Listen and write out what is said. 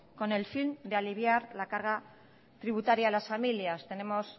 con el fin de aliviar la carga tributaria a las familias tenemos